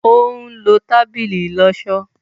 òún ló tábìlì ìlósó